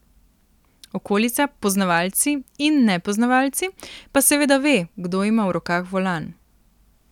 Okolica, poznavalci in nepoznavalci, pa seveda ve, kdo ima v rokah volan.